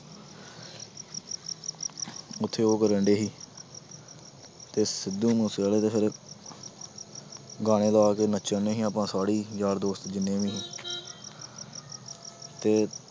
ਉੱਥੇ ਉਹ ਕਰਨਡੇ ਸੀ ਤੇ ਸਿੱਧੂ ਮੂਸੇਵਾਲੇ ਦੇ ਸਾਰੇ ਗਾਣੇ ਲਾ ਕੇ ਨੱਚਣਡੇ ਸੀ ਆਪਾਂ ਸਾਰੇ ਹੀ ਯਾਰ ਦੋਸਤ ਜਿੰਨੇ ਵੀ ਤੇ